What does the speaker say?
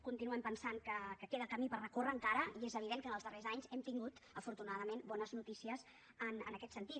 continuem pensant que queda camí per recórrer encara i és evident que en els darrers anys hem tingut afortunadament bones notícies en aquest sentit